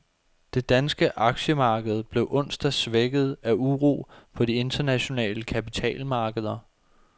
Det danske aktiemarked blev onsdag svækket af uro på de internationale kapitalmarkeder.